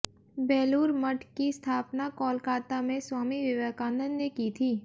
बेलूर मठ की स्थापना कोलकाता में स्वामी विवेकानंद ने की थी